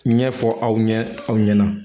Ɲɛfɔ aw ɲɛ aw ɲɛna